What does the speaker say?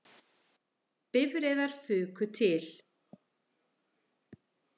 Bifreiðar fuku til